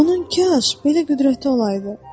Onun kaş belə qüdrəti olaydı.